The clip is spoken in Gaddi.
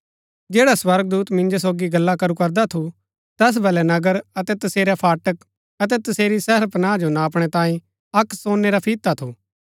जैडा स्वर्गदूत मिन्जो सोगी गल्ला करू करदा थू तैस बलै नगर अतै तसेरै फाटक अतै तसेरी शहरपनाह जो नापणै तांयें अक्क सोनै रा फिता थू